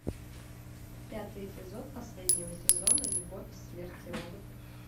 пятый эпизод последнего сезона любовь смерть и роботы